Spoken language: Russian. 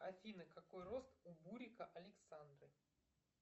афина какой рост у бурика александры